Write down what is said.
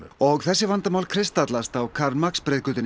og þessi vandamál kristallast á Karl Marx